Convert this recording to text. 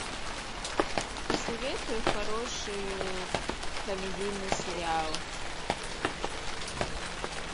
посоветуй хороший комедийный сериал